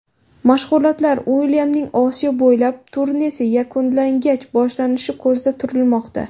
Mashg‘ulotlar Uilyamning Osiyo bo‘ylab turnesi yakunlangach boshlanishi ko‘zda turilmoqda.